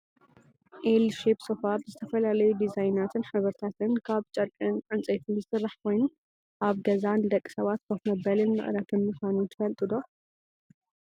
ኤል ሼብ ሶፋ ብዝተፈላለዩ ዲዛይናትን ሕብርታትን ካብ ጨርቅን እንፀይትን ዝስራሕ ኮይኑ ኣብ ገዛ ንደቂ ሰባት ኮፍ መበልን መዕረፍን ምኳኑ ትፈልጡ ዶ ?